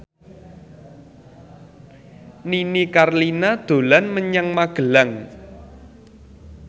Nini Carlina dolan menyang Magelang